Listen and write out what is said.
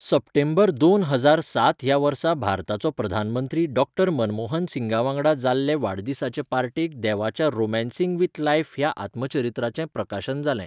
सप्टेंबर दोन हजार सात ह्या वर्सा भारताचो प्रधानमंत्री डॉ. मनमोहन सिंगावांगडा जाल्ले वाडदिसाचे पार्टेक देवाच्या 'रॉमॅन्सिंग विथ लायफ' ह्या आत्मचरित्राचें प्रकाशन जाल्लें.